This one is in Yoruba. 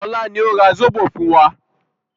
Ọlá ni ó ra zobo fún wa